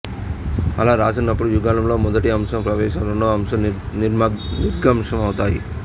అలా రాసినప్పుడు యుగళంలో మొదటి అంశం ప్రవేశాంశం రెండవ అంశం నిర్గమాంశం అవుతాయి